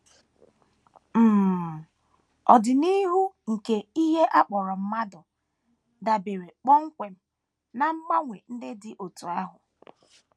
um Ọdịnihu nke ihe a kpọrọ mmadụ dabeere kpọmkwem ná mgbanwe ndị dị otú ahụ.